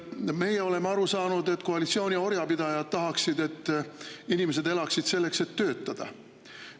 Meie oleme aru saanud, et nüüd tahaksid koalitsiooni orjapidajad, et inimesed elaksid selleks, et töötada.